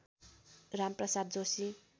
Ram Prasad Joshi